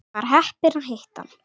Var heppin að hitta hann.